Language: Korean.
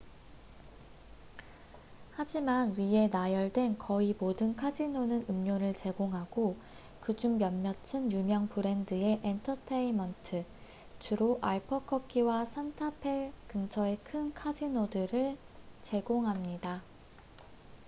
하지만 위에 나열된 거의 모든 카지노는 음료를 제공하고 그중 몇몇은 유명 브랜드의 엔터테인먼트주로 알버커키와 산타페 근처의 큰 카지노들를 제공합니다